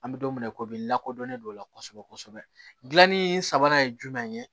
An bɛ don min na komi lakodɔnnen don o la kosɛbɛ kosɛbɛ gilanni sabanan ye jumɛn ye